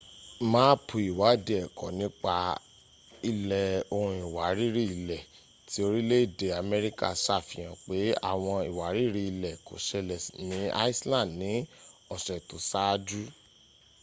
máàpù ìwáádìí ẹ̀kọ nípa ilẹ̀ ohun ìwárìrì-ilẹ̀ ti orìlé-èdè amerika sàfihàn pẹ́ ́àwọǹ ìwárìrì-ilẹ kò sẹlẹ̀ ni iceland ni ọ̀sẹ̀ tó sáájú